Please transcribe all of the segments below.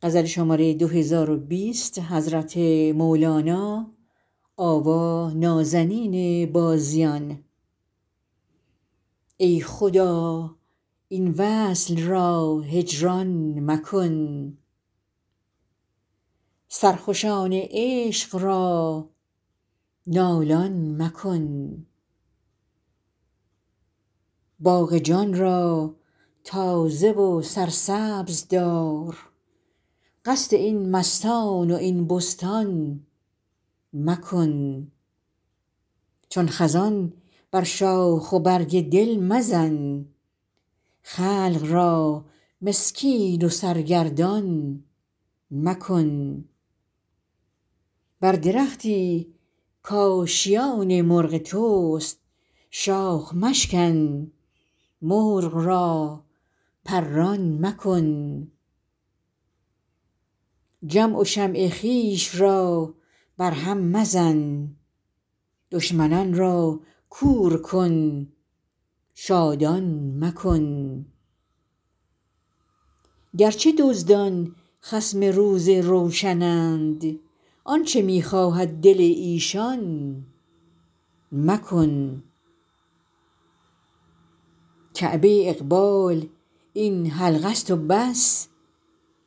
ای خدا این وصل را هجران مکن سرخوشان عشق را نالان مکن باغ جان را تازه و سرسبز دار قصد این مستان و این بستان مکن چون خزان بر شاخ و برگ دل مزن خلق را مسکین و سرگردان مکن بر درختی کآشیان مرغ توست شاخ مشکن مرغ را پران مکن جمع و شمع خویش را برهم مزن دشمنان را کور کن شادان مکن گرچه دزدان خصم روز روشنند آنچ می خواهد دل ایشان مکن کعبه اقبال این حلقه است و بس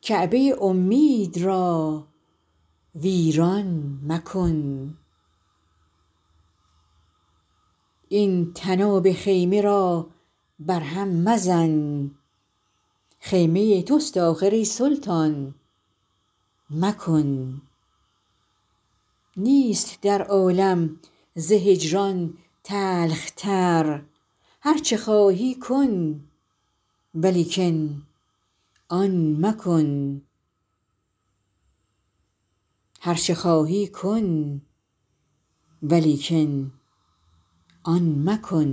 کعبه امید را ویران مکن این طناب خیمه را برهم مزن خیمه توست آخر ای سلطان مکن نیست در عالم ز هجران تلخ تر هرچه خواهی کن ولیکن آن مکن